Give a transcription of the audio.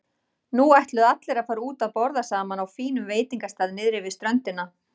Nú ætluðu allir að fara út að borða saman á fínum veitingastað niðri við ströndina.